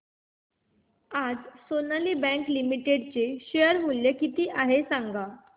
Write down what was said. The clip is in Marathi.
आज सोनाली बँक लिमिटेड चे शेअर मूल्य किती आहे सांगा